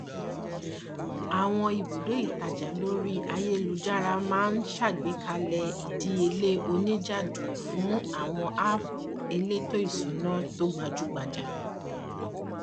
àwọn ibùdó ìtajà lórí ayélujára máa ń ṣàgbékalẹ ìdíyelé oníjìjàdù fún àwọn háàpù elétò ìṣúná tó gbajúgbajà